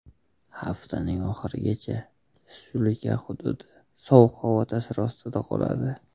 Haftaning oxirigacha respublika hududi sovuq havo ta’siri ostida qoladi.